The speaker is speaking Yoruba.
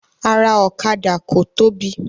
Ara ọ̀kadà ko tóbi.